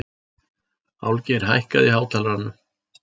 Álfgeir, hækkaðu í hátalaranum.